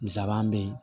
Misabaa bɛ yen